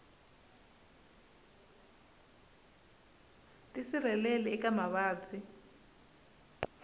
tisirheleli eka mavabyi